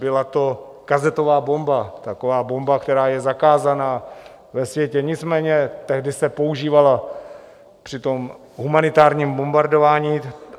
Byla to kazetová bomba, taková bomba, která je zakázaná ve světě, nicméně tehdy se používala při tom humanitárním bombardování.